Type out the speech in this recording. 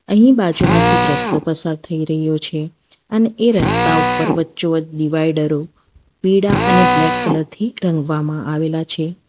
અહીં બાજુમાંથી એક રસ્તો પસાર થઈ રહ્યો છે અને એ રસ્તા ઉપર વચ્ચોવચ ડિવાઇડરો પીળા અને બ્લેક કલર થી રંગવામાં આવેલા છે.